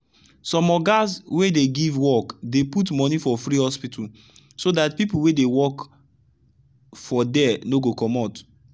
some ogas wey dey give workdey put money for free hospital so dt people wey dey work for there no go commot.